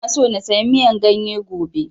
Ina so na saya miyan ganye gobe